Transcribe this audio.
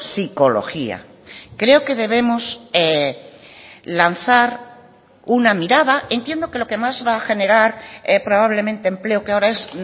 psicología creo que debemos lanzar una mirada entiendo que lo que más va a generar probablemente empleo que ahora es